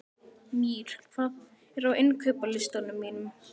Mír, hvað er á innkaupalistanum mínum?